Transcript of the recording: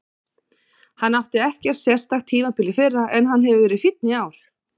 Hann átti ekkert sérstakt tímabil í fyrra en hann hefur verið fínn í ár.